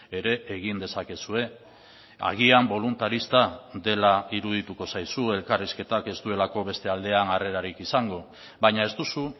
ere egin dezakezue agian boluntarista dela irudituko zaizu elkarrizketak ez duelako beste aldean harrerarik izango baina ez duzu